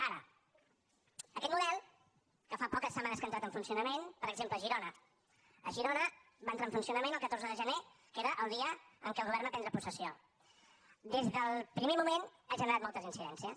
ara aquest model que fa poques setmanes que ha entrat en funcionament per exemple a girona a girona va entrar en funcionament el catorze de gener que era el dia en què el govern va prendre possessió des del primer moment ha generat moltes incidències